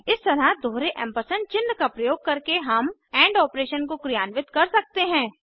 इस तरह दोहरे एम्परसेंड चिन्ह का प्रयोग करके हम एंड ऑपरेशन को क्रियान्वित कर सकते हैं